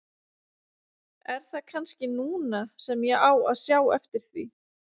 Er það kannski núna sem ég á að sjá eftir því?